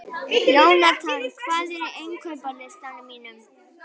Jónatan, hvað er á innkaupalistanum mínum?